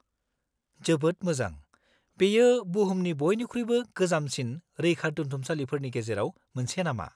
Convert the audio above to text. -जोबोद मोजां! बेयो बुहुमनि बइनिख्रुइबो गोजामसिन रैखादोन्थुमसालिफोरनि गेजेराव मोनसे नामा?